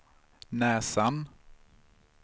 näsan